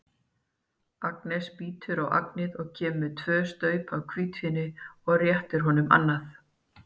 Agnes bítur á agnið, kemur með tvö staup af hvítvíni og réttir honum annað.